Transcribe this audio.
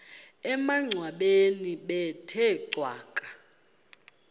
emangcwabeni bethe cwaka